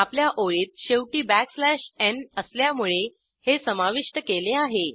आपल्या ओळीत शेवटी बॅकस्लॅश n असल्यामुळे हे समाविष्ट केले आहे